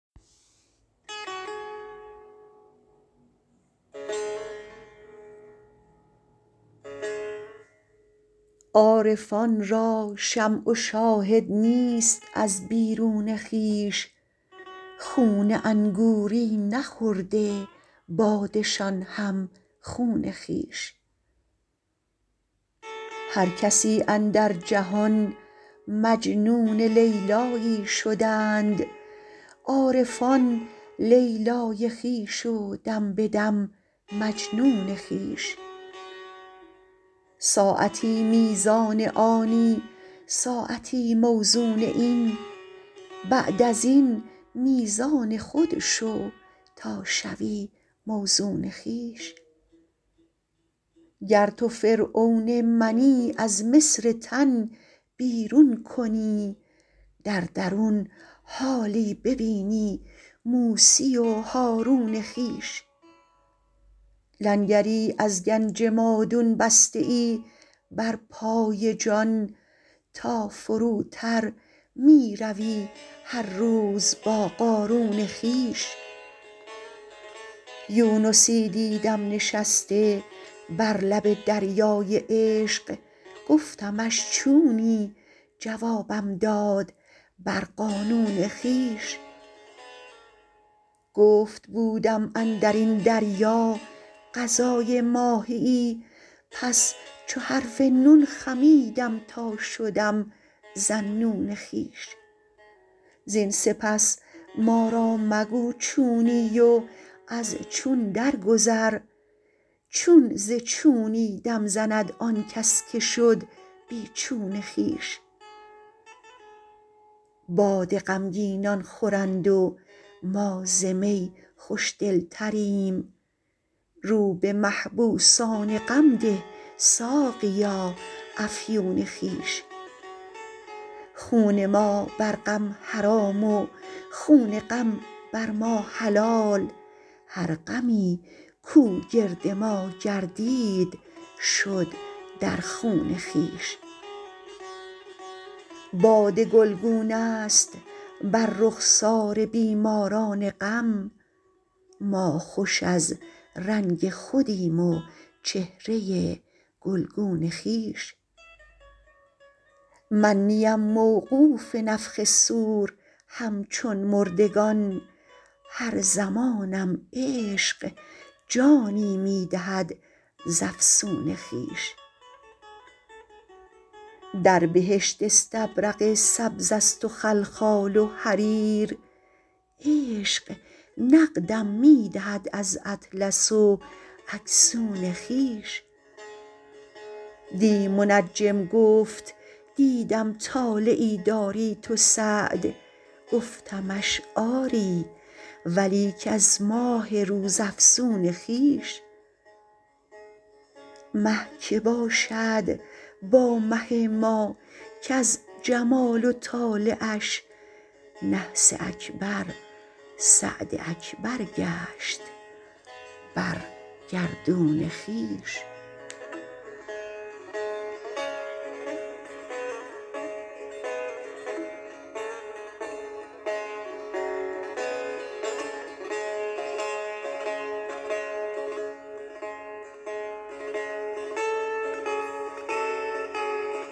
عارفان را شمع و شاهد نیست از بیرون خویش خون انگوری نخورده باده شان هم خون خویش هر کسی اندر جهان مجنون لیلیی شدند عارفان لیلی خویش و دم به دم مجنون خویش ساعتی میزان آنی ساعتی موزون این بعد از این میزان خود شو تا شوی موزون خویش گر تو فرعون منی از مصر تن بیرون کنی در درون حالی ببینی موسی و هارون خویش لنگری از گنج مادون بسته ای بر پای جان تا فروتر می روی هر روز با قارون خویش یونسی دیدم نشسته بر لب دریای عشق گفتمش چونی جوابم داد بر قانون خویش گفت بودم اندر این دریا غذای ماهیی پس چو حرف نون خمیدم تا شدم ذاالنون خویش زین سپس ما را مگو چونی و از چون درگذر چون ز چونی دم زند آن کس که شد بی چون خویش باده غمگینان خورند و ما ز می خوش دلتریم رو به محبوسان غم ده ساقیا افیون خویش خون ما بر غم حرام و خون غم بر ما حلال هر غمی کو گرد ما گردید شد در خون خویش باده گلگونه ست بر رخسار بیماران غم ما خوش از رنگ خودیم و چهره گلگون خویش من نیم موقوف نفخ صور همچون مردگان هر زمانم عشق جانی می دهد ز افسون خویش در بهشت استبرق سبزست و خلخال و حریر عشق نقدم می دهد از اطلس و اکسون خویش دی منجم گفت دیدم طالعی داری تو سعد گفتمش آری ولیک از ماه روزافزون خویش مه که باشد با مه ما کز جمال و طالعش نحس اکبر سعد اکبر گشت بر گردون خویش